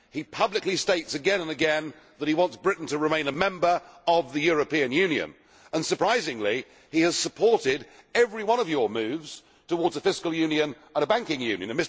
He publicly states again and again that he wants Britain to remain a member of the European Union and, surprisingly, he has supported every one of your moves towards a fiscal union and banking union.